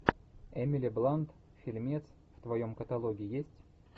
эмили блант фильмец в твоем каталоге есть